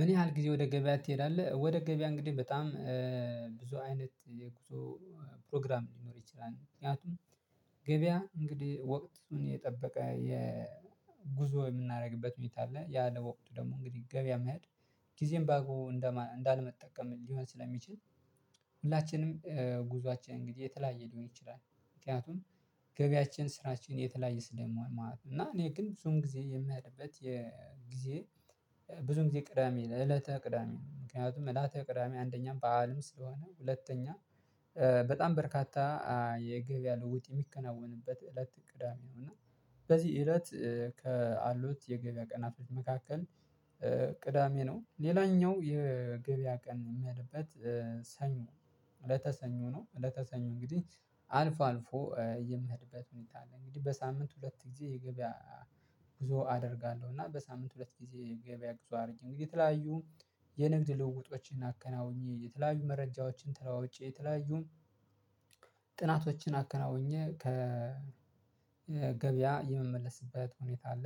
ምን ያህል ጊዜ ወደ ገበያ ትሄዳለህ? ወደ ገበያ እንግዲህ በጣም ብዙ አይነት የጉዞ ፕሮግራም ሊኖር ይችላል ምክንያቱም ገበያ እንግዲህ ወቅቱን የጠበቀ የ ጉዞ የምናደርግበት ሁኔታ አለ ያ ለወቅቱ ደግሞ እንግዲህ ገበያ መሄድ ጊዜም በአግቦቡ እንዳለመጠቀም ሊሆን ስለሚችል ሁላችንም ጉዞአችን እንግዲህ የተለያየ ሊሆን ይችላል ምክንያቱም ገበያችን ስራችን የተለያየ ስለምሆን ማለት ነው። እና እኔ ግን ብዙን ጊዜ የምሄድበት የጊዜ ብዙን ጊዜ ቅዳሜ እለተ ቅዳሜ ምክንያቱም እለተ ቅዳሜ አንደኛም በዓልም ስለሆነ ሁለተኛ በጣም በርካታ የገበያ ልውጥ የሚከናወንበት እለት ቅዳሜ ነው። እና በዚህ እለት ካሉት የገበያ ቀናት መካከል ቅዳሜ ነው። ሌላኛው የገበያ ቀን ምሄድበት ሰኞ እለተ ሰኞ ነው። እለተ ሰኞ እንግዲህ አልፎ አልፎ የምሄድበት ሁኔታ አለ እንግዲህ በሳምንት ሁለት ጊዜ የገበያ ጉዞ አደርጋለሁ። እና በሳምንት ሁለት ጊዜ የገበያ ጉዞ አድርጌ እንግዲህ የተለያዩ የንግድ ልውውጦችን አከናውኜ የተለያዩ መረጃዎችን ተለዋውጬ የተለያዩ ጥናቶችን አከናውኜ ከገበያ የመመለስበት ሁኔታ አለ።